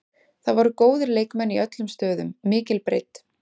Það voru góðir leikmenn í öllum stöðum, mikil breidd.